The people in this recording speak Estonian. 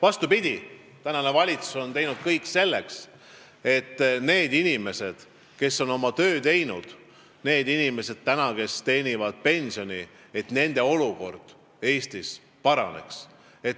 Vastupidi, praegune valitsus on teinud kõik selleks, et Eestis paraneks nende inimeste olukord, kes on teinud oma tööd ja kes saavad pensioni, et nende ostujõud suureneks.